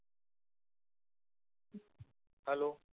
Hello